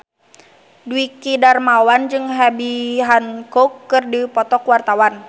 Dwiki Darmawan jeung Herbie Hancock keur dipoto ku wartawan